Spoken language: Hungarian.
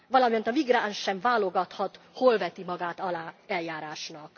Valamint a migráns sem válogathat, hol veti magát alá eljárásnak.